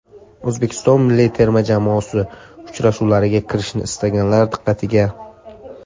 O‘zbekiston milliy terma jamoasi uchrashuvlariga kirishni istaganlar diqqatiga.